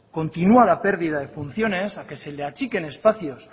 continua la pérdida de funciones a que se les achiquen espacios